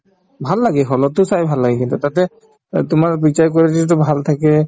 ভাল লাগে hall তো চাই ভাল লাগে কিন্তু তাতে তোমাৰ picture quality তো ভাল থাকে